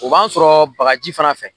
O b'a sɔrɔ bagaji fana fɛ